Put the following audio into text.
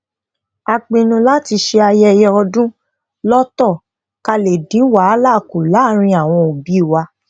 a pinnu láti ṣe ayẹyẹ ọdún lótò ká lè dín wàhálà ku láàárín awon obi wa